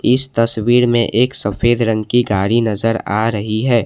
इस तस्वीर में एक सफेद रंग की गाड़ी नजर आ रही है।